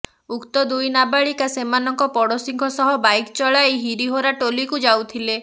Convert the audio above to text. ଉକ୍ତ ଦୁଇ ନାବାଳିକା ସେମାନଙ୍କ ପଡ଼ୋଶୀଙ୍କ ସହ ବାଇକ୍ ଚଳାଇ ହିରୀ ହୋରା ଟୋଲିକୁ ଯାଉଥିଲେ